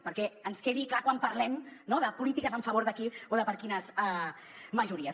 perquè ens quedi clar quan parlem no de polítiques en favor de qui o de per a quines majories